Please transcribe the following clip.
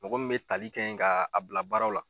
Mɔgɔ min be tali kɛ nga a bila baaraw la